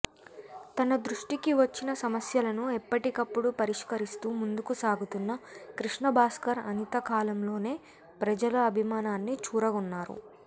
తన దృష్టికి వచ్చిన సమస్యలను ఎప్పటికప్పుడు పరిష్కరిస్తూ ముందుకు సాగుతున్న కృష్ణభాస్కర్ అనతికాలంలోనే ప్రజల అభిమానాన్ని చూరగొన్నారు